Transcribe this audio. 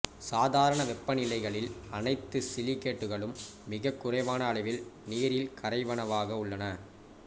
சாதாரண வெப்பநிலைகளில் அனைத்து சிலிக்கேட்டுகளும் மிகக் குறைவான அளவில் நீரில் கரைவனவாக உள்ளன